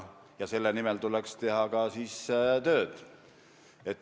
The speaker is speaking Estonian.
Selle nimel tuleks teha ka tööd.